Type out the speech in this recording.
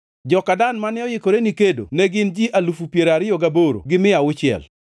joka Dan mane oikore ni kedo ne gin ji alufu piero ariyo gaboro gi mia auchiel (28,600);